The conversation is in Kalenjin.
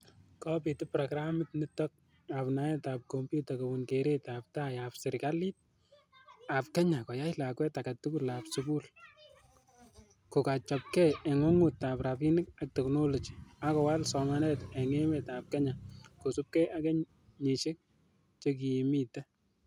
Kobiit programit nitok ap naeet ap kompyuta kobun keeret ap tai ap serkaliit ap kenya koyai lakwet age tugul ap sugul ko kagochapkei eng' ng'wungut ap raini ap teknoloji, ak kowal somanet eng' emet ap kenya koosupkei ak kenyisiek chekimiite.